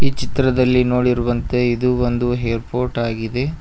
ಚಿತ್ರದಲ್ಲಿ ನೋಡಿರುವಂತೆ ಇದು ಒಂದು ಏರ್ಪೋರ್ಟ್ ಆಗಿದೆ.